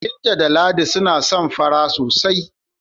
Binta da Ladi suna son fara sosai.